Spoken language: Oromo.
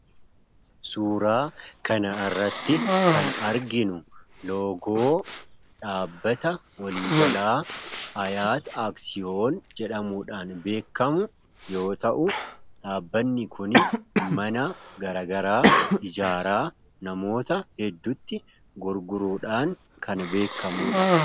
Suuraa kanarratti kan arginu loogoo dhaabbata walii galaa 'ayyaati aaksiyoon ' jedhamuudhaan beekamu yoo ta'u, dhaabbanni kun mana garaagaraa ijaaraa namoota hedduutti gurguruudhaan kan beekamudha.